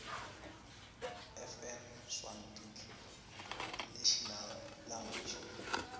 fn sswarticlenational language